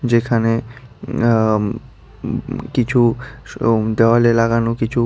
যেখানে অমম কিছু দেওয়ালে লাগানো কিছু--